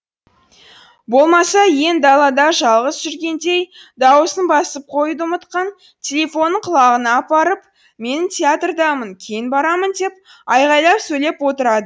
болмаса иен далада жалғыз жүргендей дауысын басып қоюды ұмытқан телефонын құлағына апарып мен театрдамын кейін барамын деп айғайлап сөйлеп отырады